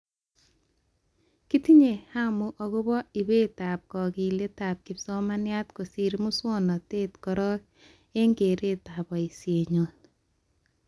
Kitinye hamu akobo ibetab kakiletab kipsomaniat kosir muswonotet korok, eng keretab boishenyoo